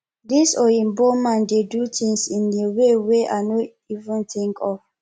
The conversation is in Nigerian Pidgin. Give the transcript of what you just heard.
this oyinbo man dey do things in a way wey i no even think of